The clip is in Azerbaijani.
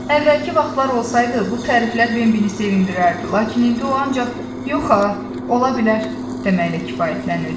Əvvəlki vaxtlar olsaydı, bu təriflər Bembini sevindirərdi, lakin indi o ancaq yox ha, ola bilər, deməklə kifayətlənirdi.